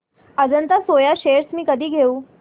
Ajanta Soya shares मी कधी घेऊ